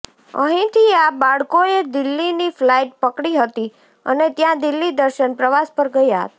અહીંથી આ બાળકોએ દિલ્હીની ફ્લાઇટ પકડી હતી અને ત્યાં દિલ્હી દર્શન પ્રવાસ પર ગયા હતા